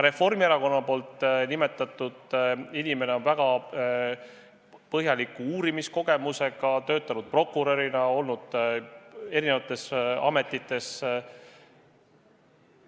Reformierakonna nimetatud inimene on väga suure uurimiskogemusega, töötanud prokurörina, olnud erinevates ametites.